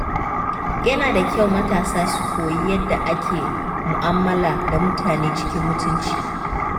Yana da kyau matasa su koyi yadda ake mu’amala da mutane cikin mutunci.